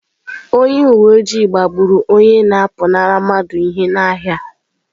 Onye uwe ojii gbagburu onye na-apụnara mmadụ ihe n’ahịa.